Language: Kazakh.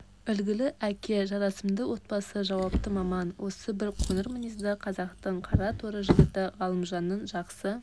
үлгілі әке жарасымды отбасы жауапты маман осы бір қоңыр мінезді қазақтың қара торы жігіті ғалымжанның жақсы